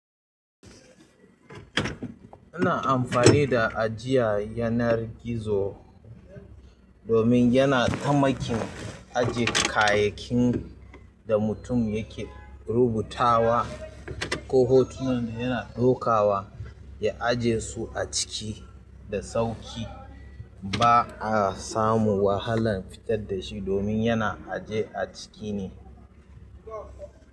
Ana amfani da ajiya yanar gizo domin yana tamakin ajiye kayakin da mutum yake rubutawa ko hotunan da yana ɗaukawa, ya ajiye su a ciki da sauƙi. Ba a samu wahalan fitar da shi domin yana ajiye a ciki ne.